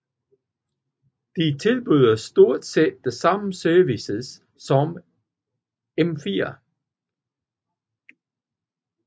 De tilbyder stort set de samme services som M4